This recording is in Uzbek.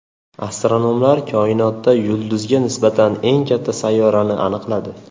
Astronomlar koinotda yulduziga nisbatan eng katta sayyorani aniqladi.